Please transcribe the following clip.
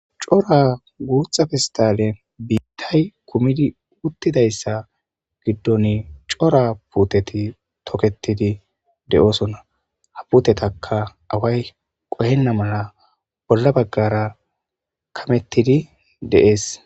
Cora guuththa fistalen biittay kumidi uttidayssa giddon cora puuteti toketidi de'oosonna ha putetaka away qohenna mala bolla baggara kamettidi de'ees